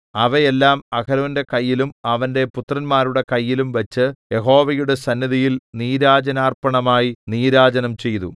അവയെല്ലാം അഹരോന്റെ കൈയിലും അവന്റെ പുത്രന്മാരുടെ കൈയിലും വച്ച് യഹോവയുടെ സന്നിധിയിൽ നീരാജനാർപ്പണമായി നീരാജനം ചെയ്തു